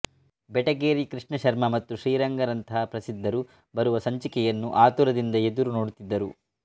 ಬೆಟಗೇರಿ ಕೃಷ್ಣ ಶರ್ಮ ಮತ್ತು ಶ್ರೀರಂಗ ರಂತಹ ಪ್ರಸಿದ್ಧರು ಬರುವ ಸಂಚಿಕೆಯನ್ನು ಆತುರದಿಂದ ಎದುರುನೋಡುತ್ತಿದ್ದರು